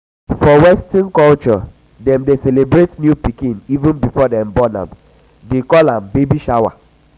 for western culture dem dey celebrate new pikin even before dem born am they call am baby shower